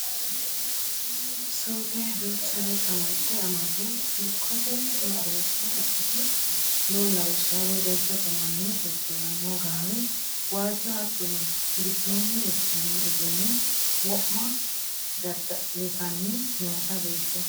Suuqe duuchare kamalte amade dikkote mereersha ikkite no lawishshaho jajjabbu manni udirano gaawe waajjo, hattono giddoni udi'nanni uduune wo'ma dadda'littanni noote beetto.